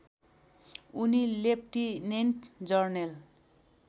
उनी लेफ्टिनेन्ट जर्नेल